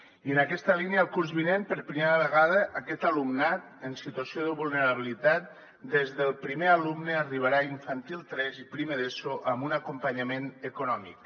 i en aquesta línia el curs vinent per primera vegada aquest alumnat en situació de vulnerabilitat des del primer alumne arribarà a infantil tres i primer d’eso amb un acompanyament econòmic